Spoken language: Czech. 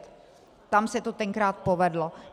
Tam se to tenkrát povedlo.